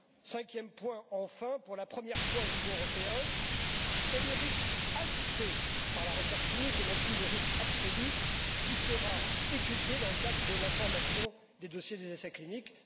Cinquième point enfin, pour la première fois au niveau européen, c'est le risque ajouté par la recherche clinique et non plus le risque absolu qui sera étudié dans le cadre de la formation des dossiers des essais cliniques.